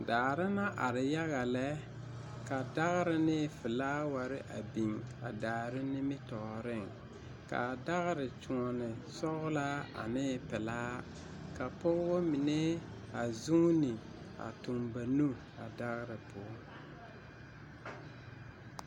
Daare na are yaga lɛ, ka dagre ne felaaware a biŋ a daare nimitɔɔreŋ, kaa dagre kyoɔne sɔglaa ane pelaa, ka pɔgeba mine a zuuni, a tuŋ ba nu a dagre poɔ.